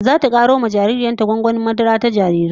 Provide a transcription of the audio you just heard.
Zata karo wa jaririyar ta madarar gwangwani ta jarirai